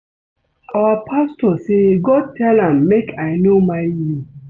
Our pastor say God tell am make I no marry you